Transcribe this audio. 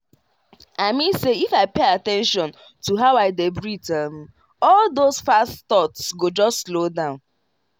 i mean say if i pay at ten tion to how i dey breathe um all those fast thoughts go just slow down.